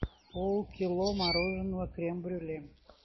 полкило мороженого крем брюле